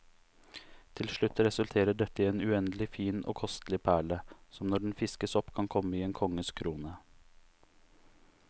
Til slutt resulterer dette i en uendelig fin og kostelig perle, som når den fiskes opp kan komme i en konges krone.